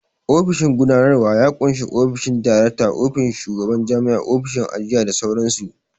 Ofishin gudanarwa ya ƙunshi ofishin direkta, ofishin shugaban jami'a, ofishin ajiya da sauran su